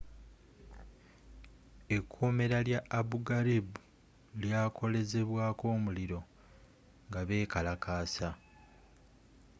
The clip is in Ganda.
ekkomera lya abu gharib lyakolezebwaako omuliro nga bekalakasa